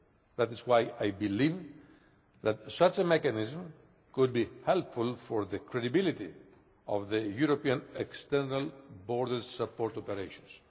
That is why I believe that such a mechanism could be helpful for the credibility of European external borders support operations.